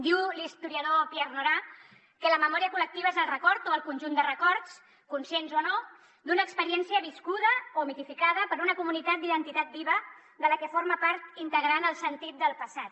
diu l’historiador pierre nora que la memòria col·lectiva és el conjunt de records conscients o no d’una experiència viscuda o mitificada per una comunitat d’identitat viva de la que forma part integrant el sentit del passat